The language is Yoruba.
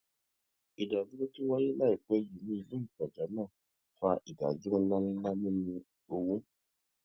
ìdàrúdàpò tó wáyé láìpẹ yìí ní ilé ìtajà náà fa ìdàrúdàpò ńláǹlà nínú òwò